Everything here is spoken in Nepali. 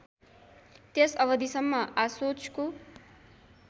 त्यस अवधिसम्म आशोचको